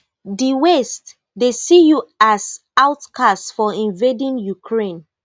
di west dey see you as outcast for invading ukraine